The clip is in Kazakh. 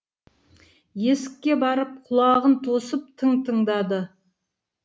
есікке барып құлағын тосып тың тыңдады